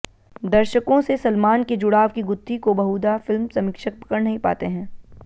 दर्शकों से सलमान के जुड़ाव की गुत्थी को बहुधा फिल्म समीक्षक पकड़ नहीं पाते हैं